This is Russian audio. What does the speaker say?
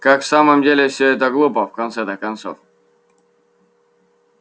как в самом деле всё это глупо в конце-то концов